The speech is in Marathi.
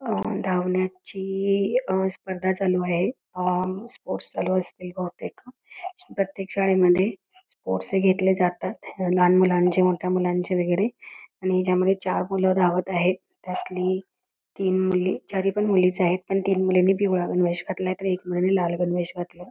धावण्याची स्पर्धा चालू आहे स्पोर्ट्स चालू असतील बहुतेक प्रत्येक शाळेमध्ये स्पोर्ट्स घेतले जातात लहान मुलांचे मोठ्या मुलांचे वैगेरे आणि त्यामध्ये चार मुलं धावत आहेत त्यातली तीन मुले चारी पण मुळेच आहेत आणि तीन मुलांनी पिवळा गणवेश घातलायतर एक मुलांनी लाल गणवेश घातलाय.